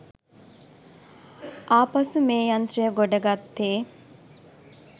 ආපසු මේ යන්ත්‍රය ගොඩගත්තෙ